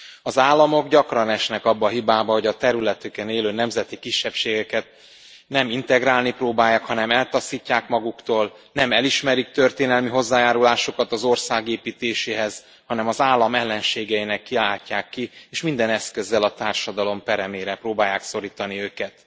Az államok gyakran esnek abba a hibába, hogy a területükön élő nemzeti kisebbségeket nem integrálni próbálják, hanem eltaszítják maguktól, nem elismerik történelmi hozzájárulásukat az országépítéséhez, hanem az állam ellenségeinek kiáltják ki és minden eszközzel a társadalom peremére próbálják szorítani őket.